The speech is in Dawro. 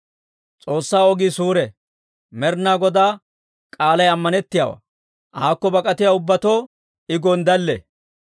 S'oossaa ogii suure. Med'inaa Godaa k'aalay ammanettiyaawaa. Aakko bak'atiyaa ubbatoo I gonddalle.